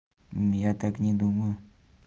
я так не думаю